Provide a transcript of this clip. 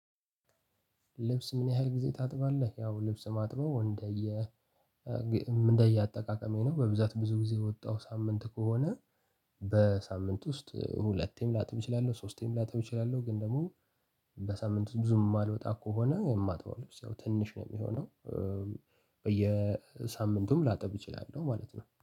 ልብስ ምን ያህል ጊዜ ታጥባለህ? ያው ልብስ ማጥበው እንደየ እንደየአጠቃቀሜ ነው በብዛት ብዙ ጊዜ የወጣሁ ሳምንት ከሆነ። በሳምንት ውስጥ ሁለቴም ላጥብ እችላለሁ ሶስቴም ላጥብ እችላለሁ። ግን ደግሞ በሳምንት ብዙም የማልወጣ ከሆነ የማጥበው ልብስ ያው ትንሽ ነው የሚሆነው። በየሳምንቱም ላጠብ እችላለሁ ማለት ነው